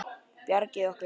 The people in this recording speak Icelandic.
Bjargið okkur!